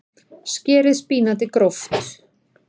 Skerið spínatið gróft.